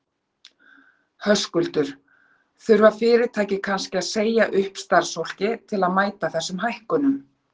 Höskuldur: Þurfa fyrirtæki kannski að segja upp starfsfólki til að mæta þessum hækkunum?